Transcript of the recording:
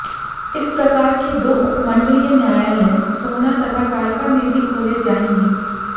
इस प्रकार के दो उपमंडलीय न्यायालय सोहना तथा कालका में भी खोले जाएंगे